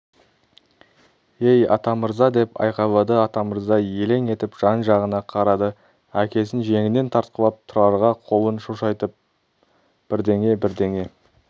ей атамырза деп айқайлады атамырза елең етіп жан-жағына қарады әкесін жеңінен тартқылап тұрарға қолын шошайтып бірдеңе-бірдеңе